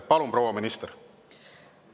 Palun, proua minister!